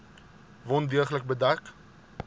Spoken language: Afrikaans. wond deeglik bedek